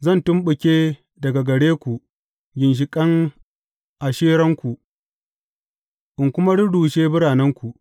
Zan tumɓuke daga gare ku ginshiƙan Asheranku in kuma rurrushe biranenku.